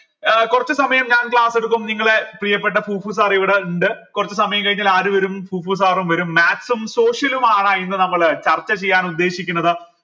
ഏർ കുറച്ചു സമയം ഞാൻ class എടുക്കും നിങ്ങളെ പ്രിയപ്പെട്ട sir ഇവിടെ ണ്ട് കൊറച്ച് സമയം കഴിഞ്ഞാൽ ആര് വരും sir ഉം വരും maths ഉം social ഉം ആണ് ഇന്ന് നമ്മൾ ചർച്ച ചെയ്യാൻ ഉദ്ദേശിക്കുന്നത്